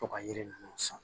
To ka yiri ninnu san